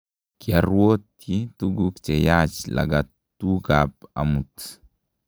kioruotyi tuguk cheyaach lagatukab amut